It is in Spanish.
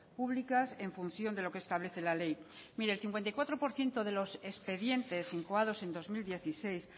públicas en función de lo que establece la ley mire el cincuenta y cuatro por ciento de los expedientes incoados en dos mil dieciséis